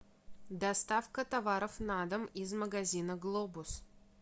доставка товаров на дом из магазина глобус